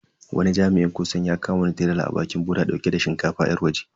Wani jami'in kwastam ya kama wani tirela a bakin boda dauke da shinkafa yar waje.